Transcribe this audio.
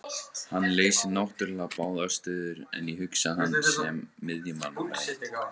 Hann leysir náttúrulega báðar stöður en ég hugsa hann sem miðjumann númer eitt.